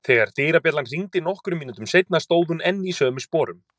Þegar dyrabjallan hringdi nokkrum mínútum seinna stóð hún enn í sömu sporum.